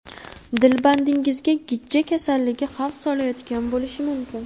Dilbandingizga gijja kasalligi xavf solayotgan bo‘lishi mumkin.